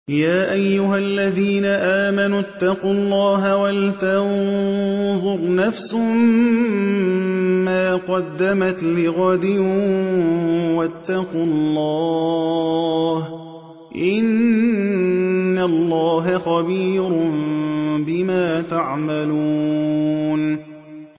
يَا أَيُّهَا الَّذِينَ آمَنُوا اتَّقُوا اللَّهَ وَلْتَنظُرْ نَفْسٌ مَّا قَدَّمَتْ لِغَدٍ ۖ وَاتَّقُوا اللَّهَ ۚ إِنَّ اللَّهَ خَبِيرٌ بِمَا تَعْمَلُونَ